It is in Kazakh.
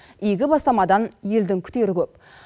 игі бастамадан елдің күтері көп